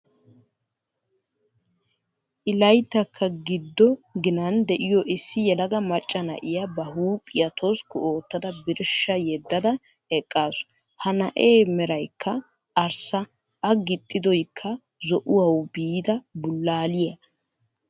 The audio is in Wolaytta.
I layttaykka giddo ginan de'iyoo issi yelaga macca na'iyaa ba huuphphiya toskku oottada birshsha yeddada eqqaasu. He na'ee meraykka arssa a gixxidoykka zo"uwaawu biida bulaaliyaa.